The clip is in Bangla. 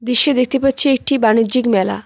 দেখতে পারছি একটা বানিজ্যিক মেলা।